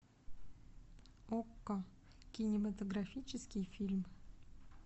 окко кинематографический фильм